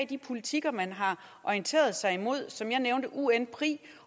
de politikker man har orienteret sig imod som jeg nævnte unpri